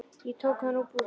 Ég tók hann úr búrinu, já.